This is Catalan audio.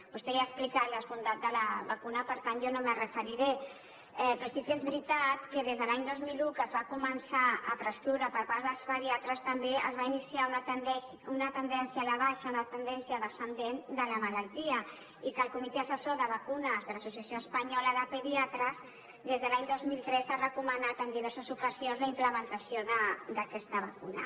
vostè ja ha explicat les bondats de la vacuna per tant jo no m’hi referiré però sí que és veritat que des de l’any dos mil un que es va començar a prescriure la per part dels pediatres també es va iniciar una tendència a la baixa una tendència descendent de la malaltia i que el comitè assessor de vacunes de l’associació espanyola de pediatres des de l’any dos mil tres ha recomanat en diverses ocasions la implementació d’aquesta vacuna